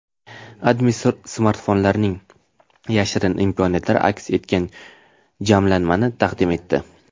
AdMe smartfonlarning yashirin imkoniyatlari aks etgan jamlanmani taqdim etdi .